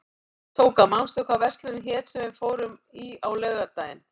Tóka, manstu hvað verslunin hét sem við fórum í á laugardaginn?